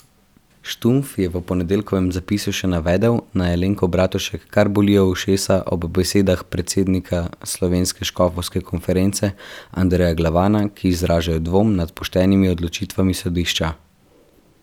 Štumpf je v ponedeljkovem zapisu še navedel, naj Alenko Bratušek kar bolijo ušesa ob besedah predsednika slovenske škofovske konference Andreja Glavana, ki izražajo dvom nad poštenimi odločitvami sodišča.